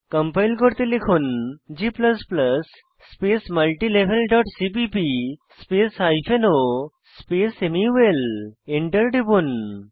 compile করতে লিখুন g space multilevel dot cpp space o space মুল Enter টিপুন